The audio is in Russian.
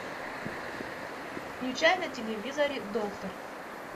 включай на телевизоре доктор